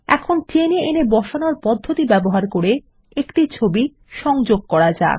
এখন টেনে এনে বসানোর পদ্ধতি ব্যবহার করে একটি ছবি সংযোগ করা যাক